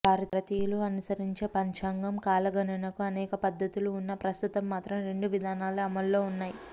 భారతీయులు అనుసరించే పంచాంగం కాలగణనకు అనేక పద్దతులు ఉన్నా ప్రస్తుతం మాత్రం రెండు విధానాలే అమల్లో ఉన్నాయి